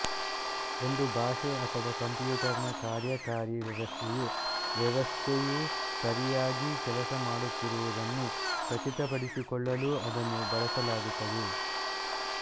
ಒಂದು ಭಾಷೆ ಅಥವಾ ಕಂಪ್ಯೂಟರ್ ನ ಕಾರ್ಯಕಾರಿ ವ್ಯವಸ್ಥೆಯು ವ್ಯವಸ್ಥೆ ಯು ಸರಿಯಾಗಿ ಕೆಲಸ ಮಾಡುತ್ತಿರುವುದನ್ನು ಖಚಿತಪಡಿಸಿಕೊಳ್ಳಲೂ ಅದನ್ನು ಬಳಸಲಾಗುತ್ತದೆ